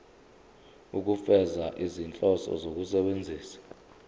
ukufeza izinhloso zokusebenzisa